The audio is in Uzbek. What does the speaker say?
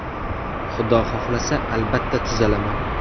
Xudo xohlasa, albatta, tuzalaman.